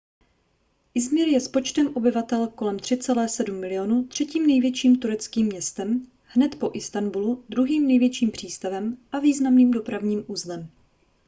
izmir je s počtem obyvatel kolem 3,7 milionu třetím největším tureckým městem hned po istanbulu druhým největším přístavem a významným dopravním uzlem